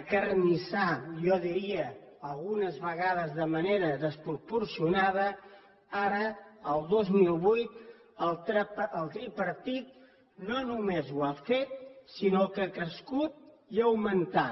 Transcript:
acarnissar jo diria algunes vegades de manera desproporcionada ara el dos mil vuit el tripartit no només ho ha fet sinó que ha crescut i ha augmentat